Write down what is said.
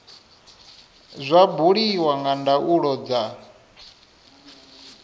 zwa buliwa nga ndaulo dza